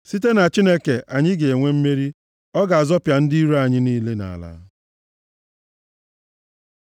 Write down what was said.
Site na Chineke, anyị ga-enwe mmeri, ọ ga-azọpịa ndị iro anyị niile nʼala.